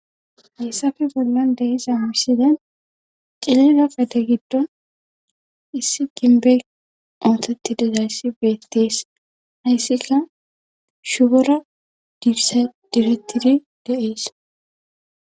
Heessafe bollan deiza hamissiden cilira gate giddo issi ginbeg ootheti dezayssi beettees hayssika shugora dibettidi dees.